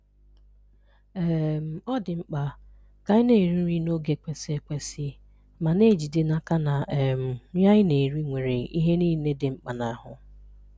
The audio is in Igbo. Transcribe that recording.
um Ọ̀ dị̀ mkpà ka ànyị̀ na-èrì nrí n’ògé kwesị̀ ekwèsì́, ma na-èjídè n’aká na um nrí ànyị̀ na-èrì nwerè ihè niilè dị̀ mkpà n’ahụ̀